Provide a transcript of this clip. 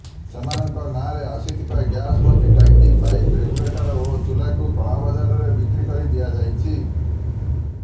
ସେମାନଙ୍କ ନାଁରେ ଆସିଥିବା ଗ୍ୟାସ୍ ଭର୍ତି ଟାଙ୍କି ପାଇପ୍ ରେଗୁଲେଟର ଓ ଚୁଲାକୁ କଳାବଜାରରେ ବିକ୍ରି କରି ଦିଆଯାଇଛି